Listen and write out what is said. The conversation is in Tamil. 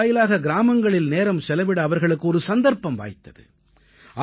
இதன் வாயிலாக கிராமங்களில் நேரம் செலவிட அவர்களுக்கு ஒரு சந்தர்ப்பம் வாய்த்தது